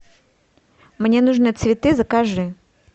мне нужны цветы закажи